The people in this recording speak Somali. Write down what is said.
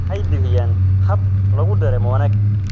Waxay bixiyaan hab lagu dareemo wanaag.